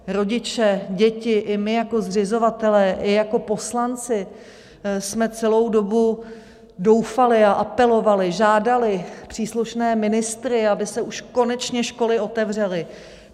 Rodiče, děti i my jako zřizovatelé i jako poslanci jsme celou dobu doufali a apelovali, žádali příslušné ministry, aby se už konečně školy otevřely.